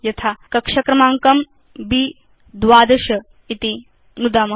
यथा कक्ष क्रमाङ्कं ब्12 इति नुदाम